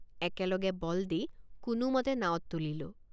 একেলগে বল দি কোনোমতে নাৱত তুলিলোঁ।